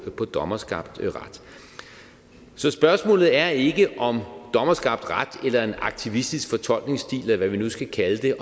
dommerskabt ret så spørgsmålet er ikke om dommerskabt ret eller en aktivistisk fortolkningsstil eller hvad vi nu skal kalde det